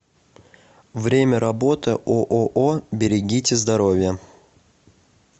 время работы ооо берегите здоровье